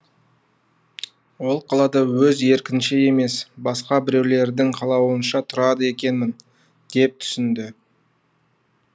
ол қалада өз еркінше емес басқа біреулердің қалауынша тұрады екенмін деп түсінді